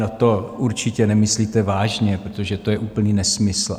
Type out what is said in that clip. No, to určitě nemyslíte vážně, protože to je úplný nesmysl.